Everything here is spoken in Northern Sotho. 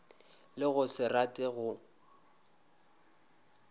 le go se rate go